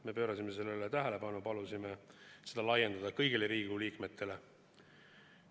Me juhtisime sellele tähelepanu ja palusime seda laiendada kõigile Riigikogu liikmetele.